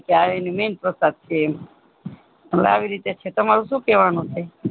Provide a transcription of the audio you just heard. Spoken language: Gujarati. ચાવેની MAIN પ્રસાદ છે આવી રીતે છે તમારું શું કહેવાનું છે